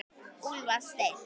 Úlfar Steinn.